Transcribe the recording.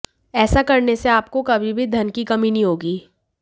ऐसा करने से आपको कभी भी धन की कमी नहीं होगी